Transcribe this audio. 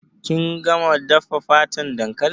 Kin gama dafa fatan dankalin?